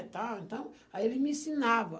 e tal, então, aí eles me ensinava.